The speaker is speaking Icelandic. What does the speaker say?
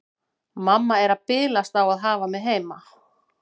Mamma er að bilast á að hafa mig heima.